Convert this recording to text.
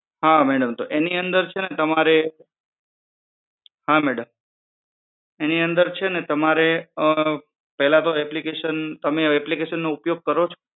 હા madam તો એની અંદર છે ને તમારે application તમે application નો ઉપયોગ કરો છો